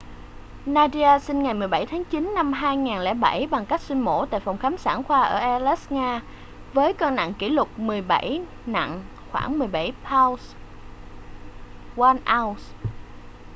nadia sinh ngày 17 tháng 9 năm 2007 bằng cách sinh mổ tại phòng khám sản khoa ở aleisk nga với cân nặng kỷ lục 17 nặng khoảng 17 pound 1 ounce